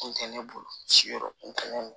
Kun tɛ ne bolo si yɔrɔ nunnu